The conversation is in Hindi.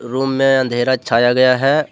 रूम में अंधेरा छाया गया है।